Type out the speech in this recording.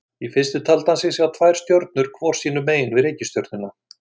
Í fyrstu taldi hann sig sjá tvær stjörnur hvor sínu megin við reikistjörnuna.